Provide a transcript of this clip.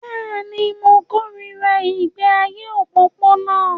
Bẹ́ẹ̀ ni, mo kórìíra ìgbé ayé òpópónà